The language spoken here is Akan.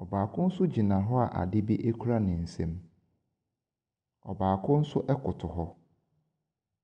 Ɔbaako nso gyina hɔ a adeɛ kura ne nsam. Ɔbaako nso ɛkoto hɔ.